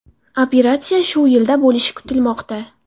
Operatsiya shu yilda bo‘lishi kutilmoqda.